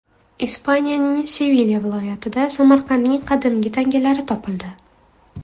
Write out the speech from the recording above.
Ispaniyaning Sevilya viloyatidan Samarqandning qadimgi tangalari topildi.